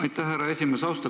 Aitäh, härra esimees!